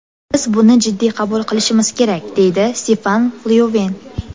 Biz buni jiddiy qabul qilishimiz kerak”, deydi Stefan Lyoven.